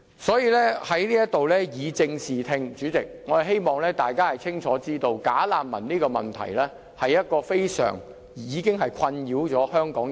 所以，我要在這裏以正視聽，主席，並我希望大家清楚知道，"假難民"這個問題已經困擾香港人多時。